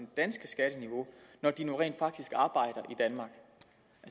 danske skatteniveau når de nu rent faktisk arbejder